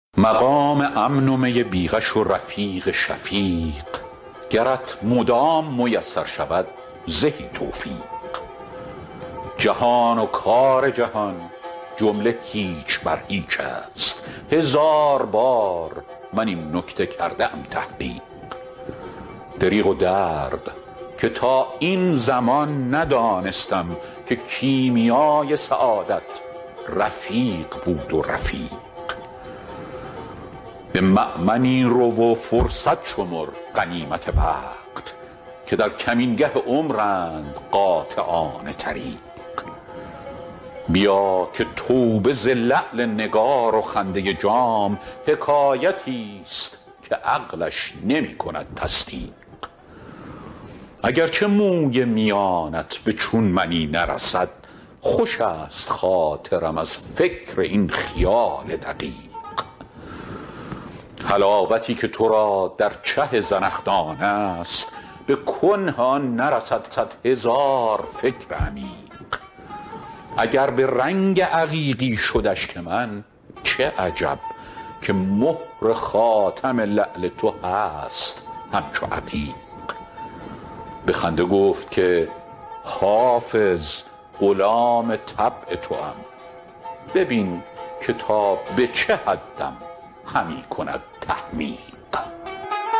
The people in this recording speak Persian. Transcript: مقام امن و می بی غش و رفیق شفیق گرت مدام میسر شود زهی توفیق جهان و کار جهان جمله هیچ بر هیچ است هزار بار من این نکته کرده ام تحقیق دریغ و درد که تا این زمان ندانستم که کیمیای سعادت رفیق بود رفیق به مأمنی رو و فرصت شمر غنیمت وقت که در کمینگه عمرند قاطعان طریق بیا که توبه ز لعل نگار و خنده جام حکایتی ست که عقلش نمی کند تصدیق اگر چه موی میانت به چون منی نرسد خوش است خاطرم از فکر این خیال دقیق حلاوتی که تو را در چه زنخدان است به کنه آن نرسد صد هزار فکر عمیق اگر به رنگ عقیقی شد اشک من چه عجب که مهر خاتم لعل تو هست همچو عقیق به خنده گفت که حافظ غلام طبع توام ببین که تا به چه حدم همی کند تحمیق